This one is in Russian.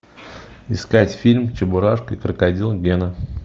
искать фильм чебурашка и крокодил гена